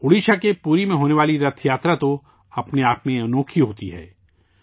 اڈیشہ کے پُری میں ہونے والی رتھ یاترا اپنے آپ میں حیرت انگیز ہے